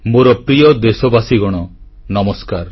ମୋର ପ୍ରିୟ ଦେଶବାସୀ ନମସ୍କାର